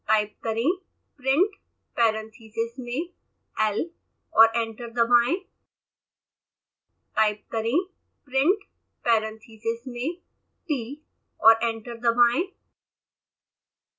type करें printparentheses मेंl और एंटर दबाएं